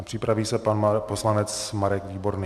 A připraví se pan poslanec Marek Výborný.